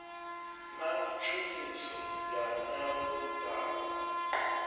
na tshumiso ya nyambo dzapo